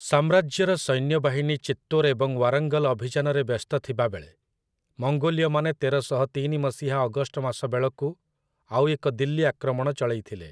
ସାମ୍ରାଜ୍ୟର ସୈନ୍ୟବାହିନୀ ଚିତ୍ତୋର୍ ଏବଂ ୱାରଙ୍ଗଲ୍ ଅଭିଯାନରେ ବ୍ୟସ୍ତ ଥିବାବେଳେ ମଙ୍ଗୋଲୀୟମାନେ ତେରଶହ ତିନି ମସିହା ଅଗଷ୍ଟ ମାସ ବେଳକୁ ଆଉ ଏକ ଦିଲ୍ଲୀ ଆକ୍ରମଣ ଚଳେଇଥିଲେ ।